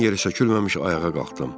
Dan yeri sökülməmiş ayağa qalxdım.